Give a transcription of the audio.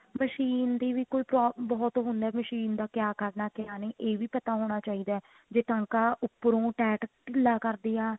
machine ਦੀ ਵੀ ਕੋਈ ਬਹੁਤ ਉਹ ਹੁੰਦਾ machine ਦਾ ਕਿਆ ਕਰਨਾ ਕਿਆ ਨਹੀਂ ਇਹ ਵੀ ਪਤਾ ਹੋਣਾ ਚਾਹੀਦਾ ਜੇ ਟਾਂਕਾ ਉੱਪਰੋ tight ਢੀਲਾ ਕਰਦੀ ਆ